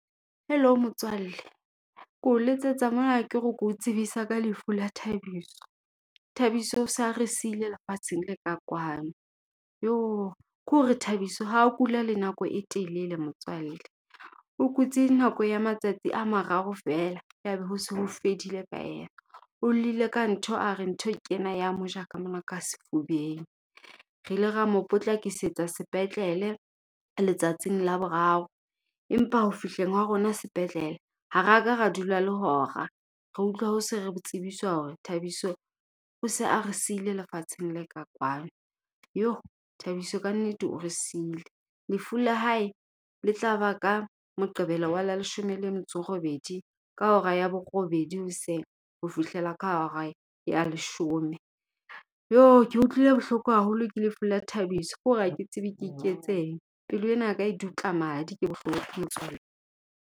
Hello motswalle. Ko letsetsa mona ke re ke o tsebise ka lefu la Thabiso. Thabiso o sa re sile lefatsheng le ka kwano. Jo! Ke hore, Thabiso ha ho kula le nako e telele motswalle. O kutsi nako ya matsatsi a mararo feela, ya ba ho se ho fedile ka yena. O llile ka ntho, a re ntho ke ena ya moja ka mona ka sefubeng. Re ile ra mo potlakisetsa sepetlele, letsatsing la boraro. Empa ho fihleng wa rona sepetlele, ha raka ra dula le hora. Re utlwa se re tsebiswa hore Thabiso, o se a re sile lefatsheng le ka kwano. Jo! Thabiso ka nnete o re sile. Lefu la hae le tla ba ka Moqebelo wa la leshome le metso e robedi ka hora ya borobedi hoseng, hofihlela ka hora ya leshome. Jo! Ke utlwile bohloko haholo ke lefu la Thabiso. Ke hore ha ke tsebe ke iketseng. Pelo ena ya ka e dutla madi, ke bohloko motswalle.